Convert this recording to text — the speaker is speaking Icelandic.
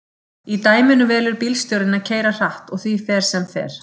Í dæminu velur bílstjórinn að keyra hratt og því fer sem fer.